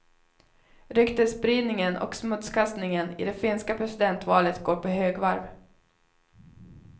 Ryktesspridningen och smutskastningen i det finska presidentvalet går på högvarv.